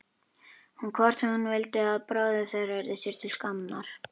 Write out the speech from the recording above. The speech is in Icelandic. Hvort hún vildi að bróðir þeirra yrði sér til skammar?